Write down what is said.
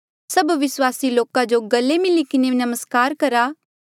सभ विस्वासी लोका जो गले मिली किन्हें नमस्कार करा